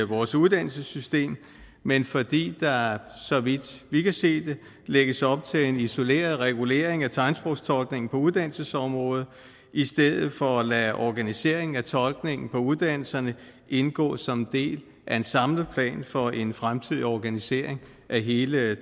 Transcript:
vores uddannelsessystem men fordi der så vidt vi kan se lægges op til en isoleret regulering af tegnsprogstolkningen på uddannelsesområdet i stedet for at lade organiseringen af tolkningen på uddannelserne indgå som en del af en samlet plan for en fremtidig organisering af hele